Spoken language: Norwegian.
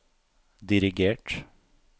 dirigert